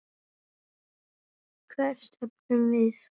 Hvert stefnum við?